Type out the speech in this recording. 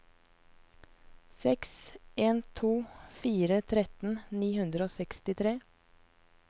seks en to fire tretten ni hundre og sekstitre